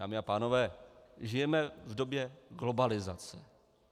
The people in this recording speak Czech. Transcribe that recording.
Dámy a pánové, žijeme v době globalizace.